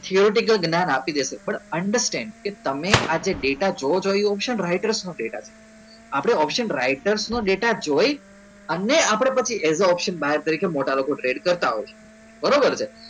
જ્ઞાન આપી દેશે પણ understand કે તમે આજે ડેટા જો option રાઈટર નું ડેટા આપણે option રાઇટર નું ડેટા જોઈ અને આપણે પછી option તરીકે લોકો ટ્રેડ કરતા હોય છે